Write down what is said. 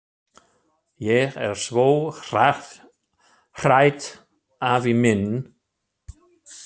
Ég er svo hrædd afi minn!